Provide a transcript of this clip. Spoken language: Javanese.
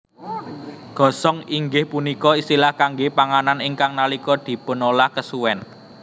Gosong inggih punika istilah kangge panganan ingkang nalika dipunolah kesuwen